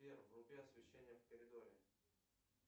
сбер вруби освещение в коридоре